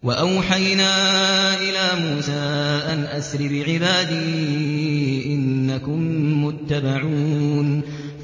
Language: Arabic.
۞ وَأَوْحَيْنَا إِلَىٰ مُوسَىٰ أَنْ أَسْرِ بِعِبَادِي إِنَّكُم مُّتَّبَعُونَ